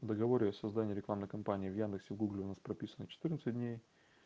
договоры о создании рекламной кампании в яндексе гугле у нас прописано четырнадцать дней